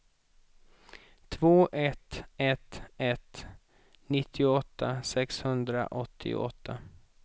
två ett ett ett nittioåtta sexhundraåttioåtta